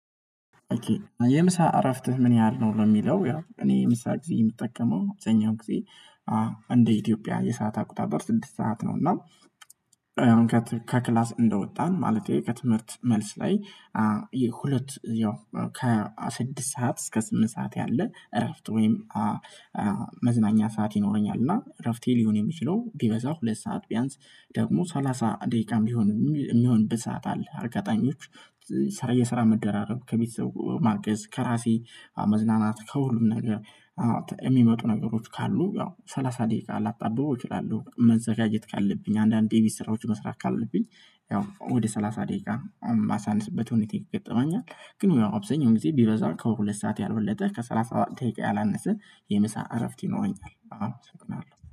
የምሳ እረፍት ምን ያህል ነው የሚለው እኔ ምሳ ጊዜ የምጠቀመው የምሰኛው ጊዜ እንደ ኢትዮጵያ የሰዓት አቁጣጥር ስድስት ሰዓት ነው። እና ከክላስ እንደወጣን ማለቴ ከትምህርት መልስ ላይ ሁለት ያው ከስድስት ሰዓት እስከ ስምንት ሰዓት ያለ እረፍት ወይም መዝናኛ ሰዓት ይኖረኛል። እና እረፍቴ ሊሆን የሚችለው ቢበዛው ሁለት ሰዓት ቢያንስ ደግሞ ሰላሳ ደቂቃም ሊሆን የሚሆን ብዛት አለ። አርጋጣኞች ሰራየ ስራ መደራረብ ከቤተሰብ ማርገዝ ከራሴ መዝናናት ከሁሉም ነገር የሚመጡ ነገሮች ካሉ ያው ሰላሳ ደቂቃ ላብታብበው እችላለሁ። መዘጋጀት ካለብኝ አንዳንዴ የቢዝ ስራዎች መስራት ካለብኝ ያው ወደ ሰላሳ ደቂቃ የማሳነስበት ሁኔታ ይገጠመኛል። ግን የሆነ አብዛኛው ጊዜ ቢበዛው ከሁለት ሰዓት ያልበለጠ ከሠላሳ ደቂቃ ያላነሰ የምሳ እረፍት ይኖረኛል። አሉ ስትል አሉ